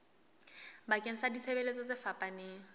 bakeng sa ditshebeletso tse fapaneng